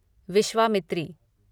Vishwamitri